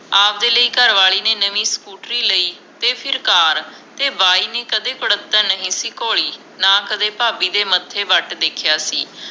ਆਵਦੇ ਲਈ ਘਰਵਾਲੀ ਨੇ ਨਵੀ ਸਕੂਟਰੀ ਲਈ ਤੇ ਫਿਰ ਕਾਰ ਤੇ ਬਾਈ ਨੇ ਕਦੇ ਕੁੜੱਤਣ ਨਹੀਂ ਸੀ ਘੋਲੀ ਨਾ ਕਦੇ ਭਾਬੀ ਦੇ ਮੱਥੇ ਵੱਟ ਵੇਖਿਆ ਸੀ